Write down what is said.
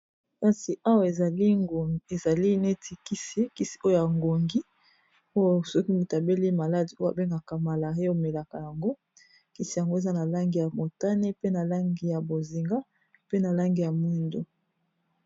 Kasi awa ezali neti kisi oyo ya ngungi oyo soki mutu abeli maladi oyo babengaka malaria omelaka yango kisi yango eza na langi ya motane pe na langi ya bozinga pe na langi ya mwindu.